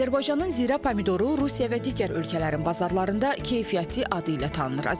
Azərbaycanın zirə pomidoru Rusiya və digər ölkələrin bazarlarında keyfiyyətli adı ilə tanınır.